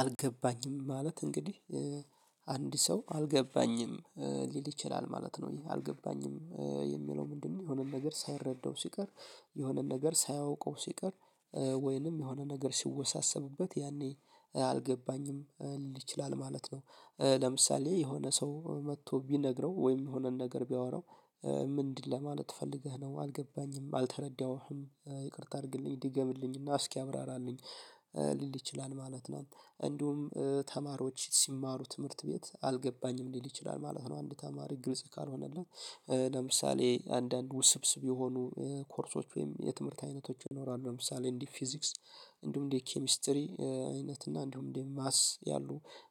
አልገባኝም ማለት እንግዲህ አንድ ሰው አልገባኝም ሊል ይችላል ማለት ነው ይሄ አልገባኝም የሚለው ምንድን ነው? የሆነ ነገር ሳይረዳው ሲቀር የሆነ ነገር ሳያውቀው ሲቀር ወይንም የሆነ ነገር ሲወሳሰብበት ይሄኔ አልገባኝም ሊል ይችላል ማለት ነው። ለምሳሌ የሆነ ሰው መጥቶ ቢነግረው ወይም የሆነን ነገር ቢያወራው ምንድን ለማለት ፈልገህ ነው አልገባኝም አልተረዳሁህም ይቅርታ አድርግልኝ ድገምልኝ እና እስኪ አብራራልኝ ሊል ይችላል ማለት ነው። እንዲሁም ተማሪዎች ሲማሩ ትምህርት ቤት አልገባኝም ሊል ይችላል ማለት ነው። አንድ ተማሪ ግልጽ ካልሆነለት ለምሳሌ አንዳንድ ውስብስብ የሆኑ ኮርሶች ወይም የትምህርት አይነቶች ይኖራሉ ለምሳሌ እንደ ፊዚክስ እንዲሁ እንደ ኬሚስትሪ አይነት እና እንዲሁ እንደ ማትስ ያሉ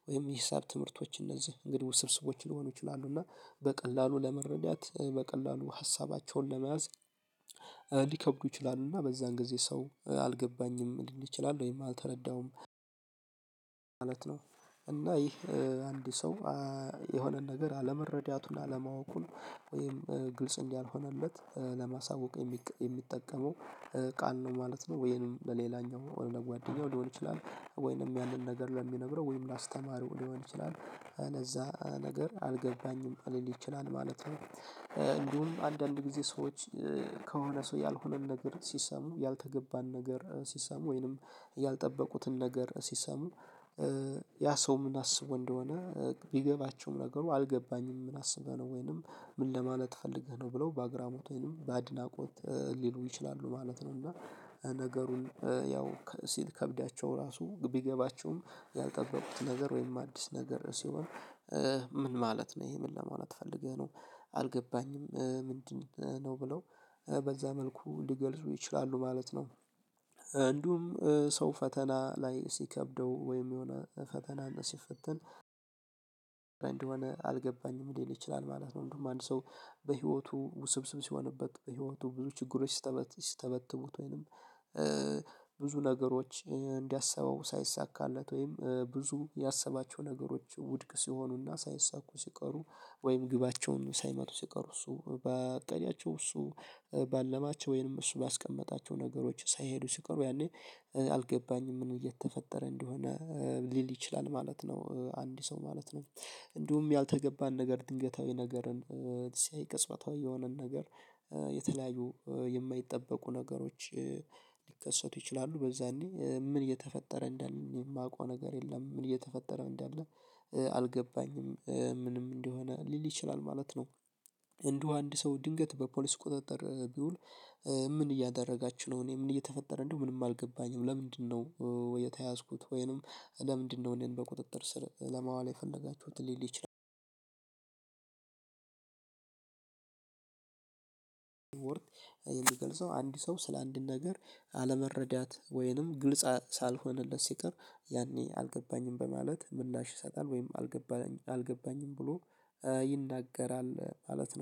ወይም የሂሳብ ትምህርቶች እነዚህ እንግዲህ ውስብስብ ሊሆኑ ይችላሉ እና በቀላሉ ለመረዳት በቀላሉ ሀሳባቸውን ለመያዝ ሊከብዱ ይችላሉ እና በዛን ጊዜ ሰው አልገባኝም ሊል ይችላል ወይም አልተረዳሁም ነው። እና ይህ አንድ ሰው የሆነን ነገር አለመረዳቱን አለማወቁን ወይም ግልጽ እንዳልሆነለት ለማሳወቅ የሚጠቀመው ቃል ነው ማለት ነው። ወይም ለሌላኛው ወይንም ለጓደኛው ሊሆን ይችላል ወይንም ያንን ነገር ለሚነግረው ወይንም ለአስተማሪው ሊሆን ይችላል እነዛ ነገር አልገባኝም ሊል ይችላል ማለት ነው። እንዲሁም አንዳንድ ጊዜ ሰዎች ከሆነ ሰው ያልሆነን ነገር ሲሰሙ ያልተገባን ነገር ሲሰሙ ወይንም ያልጠበቁትን ነገር ሲሰሙ ያ ሰው ም አስቦ እንደሆነ ቢገባቸውም ነገሩ አልገባኝም ምን አስበህ ነው ወይንም ምን ለማለት ፈልገህ ነው ብለው በአግራሞት ወይንም በአድናቆት ሊሉ ይችላሉ ማለት ነው። እና ነገሩን ያው ሲከብዳቸው ራሱ ቢገባቸውም ያልጠበቁት ነገር ወይም አዲስ ነገር ሲሆን ምን ማለት ነው ይሄ ምን ለማለት ፈልገህ ነው አልገባኝም ምንድን ነው ብለው በዛ መልኩ ሊገልጹ ይችላሉ ማለት ነው። እንዲሁም ሰው ፈተና ላይ ሲከብደው ወይም የሆነ ፈተና ሲፈትን እንደሆነ አልገባኝም ሊል ይችላል ማለት ነው። እንደውም አንድ ሰው በህይወቱ ውስብስብ ሲሆንበት በህይወቱ ብዙ ችግሮች ሲስተበትቡት ወይንም ብዙ ነገሮች እንዳሰበው ሳይይሳካለት ወይም ብዙ ያሰባቸው ነገሮች ውድቅ ሲሆኑና ሳይሳኩ ሲቀሩ ወይም ግባቸውን ሳይመቱ ሲቀሩ እሱ ባቀዳቸው እሱ ባለማቸው ወይንም እሱ ባስቀመጣቸው ነገሮች ሳይሄዱ ሲቀሩ ያኔ አልገባኝም ምን እየተፈጠረ እንደሆነ ሊል ይችላል ማለት ነው። አንድ ሰው ማለት ነው እንዲሁም ያልተገባን ነገር ድንገታዊ ነገርን ሲያይ ቅጽበታዊ የሆነን ነገር የተለያዩ የማይጠበቁ ነገሮች ሊከሰቱ ይችላሉ በዛኔ ምን እየተፈጠረ እንዳለ የማውቀው ነገር የለም። ምን እየተፈጠረ እንዳለ አልገባኝም ምንም እንደሆነ ሊል ይችላል ማለት ነው። እንደው አንድ ሰው ድንገት በፖሊስ ቁጥጥር ቢውል ምን እያደረጋች ነው እኔ ምን እየተፈጠረ እንደው ምንም አልገባኝም ለምንድነው ወይ? የተያዝኩት ወይንም ለምንድን ነው? እኔን በቁጥጥር ስር ለማዋል የፈለጋችሁት ሊል ይችላል። ወር የሚገልጸው አንድ ሰው ስለ አንድ ነገር አለመረዳት ወይንም ግልጽ ሳልሆንለት ሲቀር ያኔ አልገባኝም በማለት ምላሽ ይሰጣል ወይም አልገባኝም ብሎ ይናገራል ማለት ነው